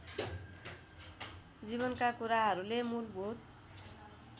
जीवनका कुराहरूले मूलभूत